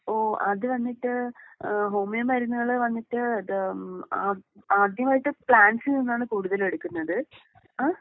ഓഹ് അത് വന്നിട്ട് ഏഹ് ഹോമിയോ മരുന്നുകള് വന്നിട്ട് ഏഹ് ആദ്യമായിട്ട് പ്ലാന്റ്സിൽ നിന്നാണ് കൂടുതലും എടുക്കുന്നത്. ഏഹ്.